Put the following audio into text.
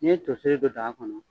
N'i ye toseri don daa kɔnɔ.